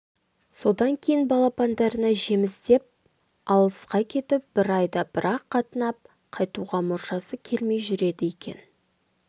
содан кейін балапандарына жем іздеп алысқа кетіп бір айда бір-ақ қатынап қайтуға мұршасы келмей жүреді екен